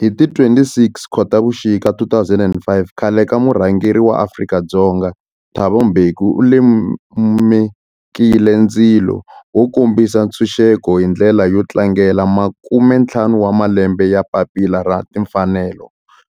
Hi ti 26 Khotavuxika 2005 khale ka murhangeri wa Afrika-Dzonga Thabo Mbeki u lumekile ndzilo wo kombisa ntshuxeko, hi ndlela yo tlangela makumentlhanu wa malembe ya papila ra timfanelo,